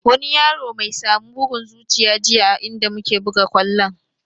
Wani yaro my samu bugun zuciya jiya a inda muke buga kwallon